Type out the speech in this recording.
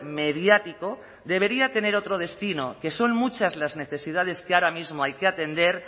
mediático debería tener otro destino que son muchas las necesidades que ahora mismo hay que atender